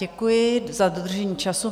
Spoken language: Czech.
Děkuji za dodržení času.